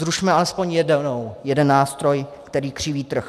Zrušme alespoň jeden nástroj, který křiví trh.